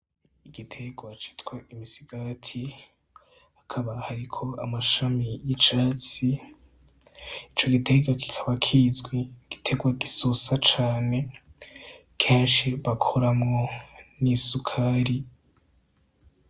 Igiterwa citwa imisigati, hakaba hariko amashami y'icatsi. Ico giterwa kikaba kizwi nk'igiterwa gososa cane, kenshi bakoramwo n'isukari.